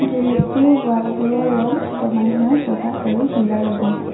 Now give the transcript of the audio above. Garage টোৰ wall বোৰৰ ৰঙ ক্ৰমান্নয়ে বগা আৰু নীলা ৰঙৰ।